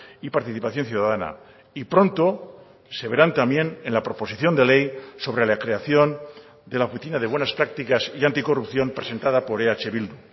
y participación ciudadana y pronto se verán también en la proposición de ley sobre la creación de la oficina de buenas prácticas y anticorrupción presentada por eh bildu